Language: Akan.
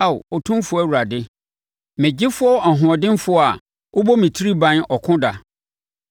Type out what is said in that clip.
Ao Otumfoɔ Awurade, me gyefoɔ ɔhoɔdenfoɔ a wobɔ me tiri ban ɔko da,